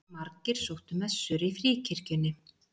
Margir sóttu messur í Fríkirkjunni